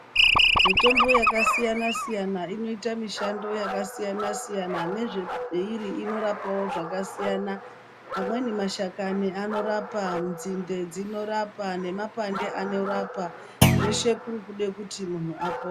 Mitombo yakasiyana-siyana inoita mishando yakasiyana-siyana nezveiri inorapawo zvakasiyana. Amweni mashakani anorapa, nzinde dzinorapa nemapande anorapa. Zveshe kuri kude kuti munhu apo...